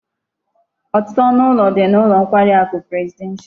Otutu onu ulo di n'ulo nkwari aku presidential